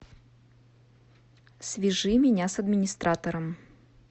свяжи меня с администратором